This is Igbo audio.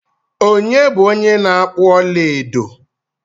Onye bu onye na-akpu ọla edo?